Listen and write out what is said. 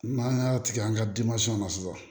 N'an y'a tigɛ an ka na sisan